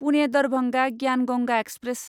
Pune Darbhanga Gyan Ganga express